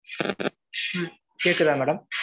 ம்ம் கேட்குதா madam